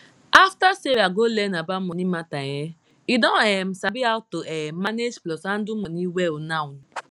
after sarah go learn about money matter um e don um sabi how to um manage plus handle money well now